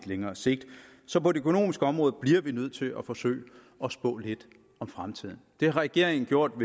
længere sigt så på det økonomiske område bliver vi nødt til at forsøge at spå lidt om fremtiden det har regeringen gjort